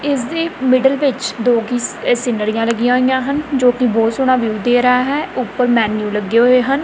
ਇੱਸ ਦੇ ਮਿਡਲ ਵਿੱਚ ਦੋ ਕੀ ਸੀਨਰੀਆਂ ਲੱਗੀਆਂ ਹੋਈਆਂ ਹਨ ਜੋਕੀ ਬਹੁਤ ਸੋਹਣਾ ਵਿਊ ਦੇ ਰਿਹਾ ਹੈ ਉਪਰ ਮੈਂਨਿਊ ਲੱਗੇ ਹੋਏ ਹਨ।